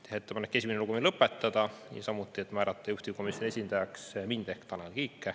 Teha ettepanek esimene lugemine lõpetada ja määrata juhtivkomisjoni esindajaks mind ehk Tanel Kiike.